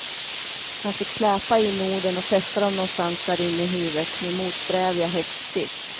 Han fick släpa in orden och fästa dem någonstans där inne i huvudet med motsträviga häftstift.